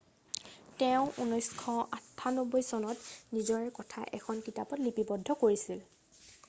তেওঁ 1998 চনত নিজৰ কথা এখন কিতাপত লিপিবদ্ধ কৰিছিল